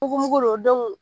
Mugumugu don